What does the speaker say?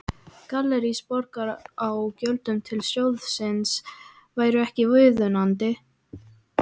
Gallerís Borgar á gjöldum til sjóðsins væru ekki viðunandi.